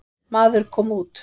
Maður kom út.